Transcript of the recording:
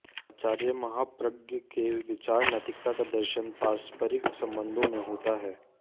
आचार्य महाप्रज्ञ के विचार नैतिकता का दर्शन पारस्परिक संबंधों में होता है